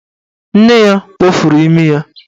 Nne ya kpọfuru imi ya.